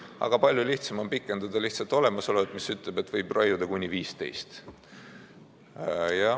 Aga palju lihtsam on pikendada lihtsalt olemasolevat, mis ütleb, et võib raiuda kuni 15.